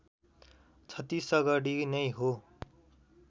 छत्तीसगढी नै हो